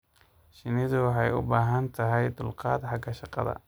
Shinnidu waxay u baahan tahay dulqaad xagga shaqada.